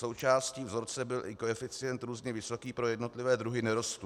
Součástí vzorce byl i koeficient různě vysoký pro jednotlivé druhy nerostů.